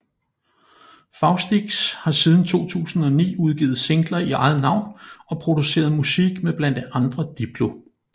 Faustix har siden 2009 udgivet singler i eget navn og produceret musik med blandt andre Diplo